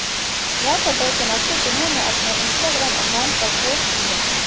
यह फोटो सोनाक्षी सिन्हा ने अपने इंस्टाग्राम अकाउंट पर पोस्ट की है